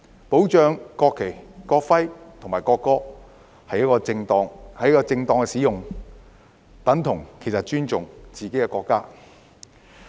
保障國旗、國徽和國歌的正當使用其實等同尊重自己的國家。